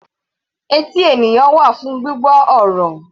Etí ènìyàn wà fún gbígbọ́ ọ̀rọ̀.